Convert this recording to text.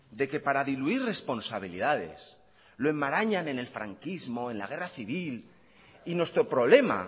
de que para diluir responsabilidades lo enmarañan en el franquismo en la guerra civil y nuestro problema